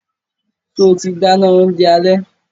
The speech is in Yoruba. Ṣe o ti dáná oúnjẹ alẹ́?